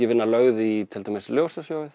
vinna lögð í til dæmis